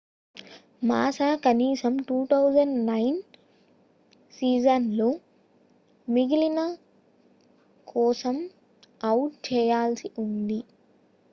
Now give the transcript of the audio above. మాసా కనీసం 2009 సీజన్ లో మిగిలిన కోసం అవుట్ చేయాల్సి ఉంది